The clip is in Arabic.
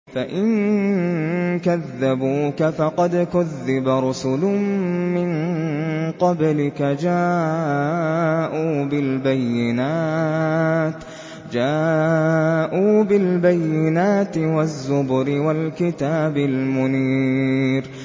فَإِن كَذَّبُوكَ فَقَدْ كُذِّبَ رُسُلٌ مِّن قَبْلِكَ جَاءُوا بِالْبَيِّنَاتِ وَالزُّبُرِ وَالْكِتَابِ الْمُنِيرِ